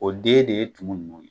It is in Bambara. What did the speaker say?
O den de ye tumu ninnu ye.